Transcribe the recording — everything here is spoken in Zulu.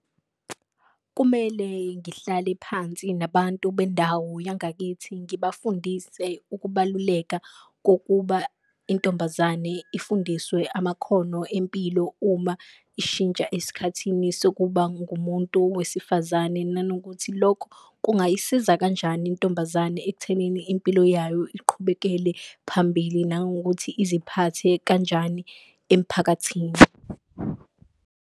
Kumele ngihlale phansi nabantu bendawo yangakithi ngibafundise ukubaluleka kokuba intombazane ifundiswe amakhono empilo, uma ishintsha esikhathini sokuba ngumuntu wesifazane. Nanokuthi lokho kungayisiza kanjani intombazane ekuthenini impilo yayo iqhubekele phambili, nangokuthi iziphathe kanjani emphakathini.